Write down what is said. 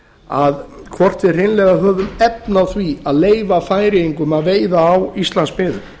að hvort við hreinlega höfum efni á því að leyfa færeyingum að veiða á íslandsmiðum